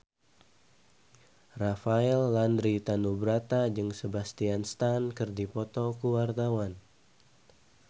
Rafael Landry Tanubrata jeung Sebastian Stan keur dipoto ku wartawan